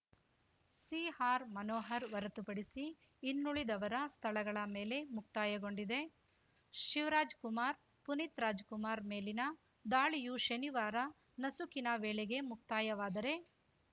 ಸಿಆರ್‌ಮನೋಹರ್‌ ಹೊರತು ಪಡಿಸಿ ಇನ್ನುಳಿದವರ ಸ್ಥಳಗಳ ಮೇಲೆ ಮುಕ್ತಾಯಗೊಂಡಿದೆ ಶಿವರಾಜ್‌ಕುಮಾರ್‌ ಪುನೀತ್‌ ರಾಜ್‌ಕುಮಾರ್‌ ಮೇಲಿನ ದಾಳಿಯು ಶನಿವಾರ ನಸುಕಿನ ವೇಳೆಗೆ ಮುಕ್ತಾಯವಾದರೆ